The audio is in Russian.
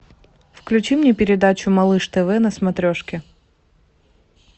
включи мне передачу малыш тв на смотрешке